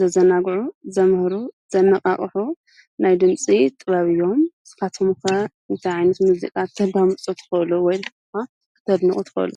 ዘዘናጕዑ፣ ዘምህሩ ፣ዘነቓቕሑ ናይ ድምፂ ጥበብ አዮም፡፡ ንስኻትኩም ከ እንታይ ዓይነት ሙዚቃ ተዳምፁ ትኽእሉ ወይ ድማ ኽተድነቑ ትኸእሉ?